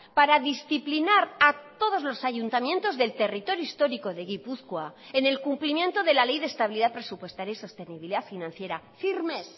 para disciplinar a todos los ayuntamientos del territorio histórico de gipuzkoa en el cumplimiento de la ley de estabilidad presupuestaria y sostenibilidad financiera firmes